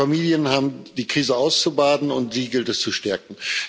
Die Familien haben die Krise auszubaden, und die gilt es zu stärken.